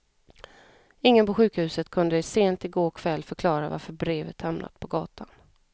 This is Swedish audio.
Ingen på sjukhuset kunde sent i går kväll förklara varför brevet hamnat på gatan.